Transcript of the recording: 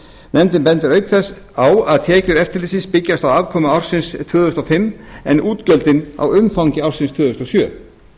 nefndin bendir auk þess á að tekjur eftirlitsins byggjast á afkomu ársins tvö þúsund og fimm en útgjöldin á umfangi ársins tvö þúsund og sjö